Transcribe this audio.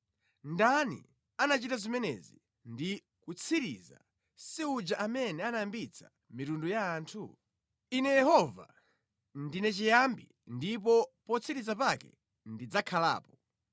Ndani anachita zimenezi ndi kuzitsiriza, si uja amene anayambitsa mitundu ya anthu? Ine Yehova, ndine chiyambi ndipo potsiriza pake ndidzakhalapo.”